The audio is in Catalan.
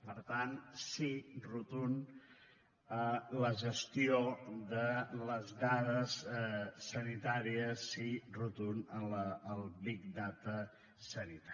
per tant sí rotund a la gestió de les dades sanitàries sí rotund al big data sanitari